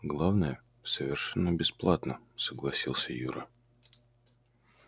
главное совершенно бесплатно согласился юра